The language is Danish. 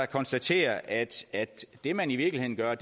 konstatere at det man i virkeligheden gør